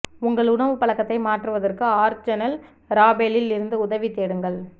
உங்கள் உணவு பழக்கத்தை மாற்றுவதற்கு ஆர்சனெல் ராபேலில் இருந்து உதவி தேடுங்கள்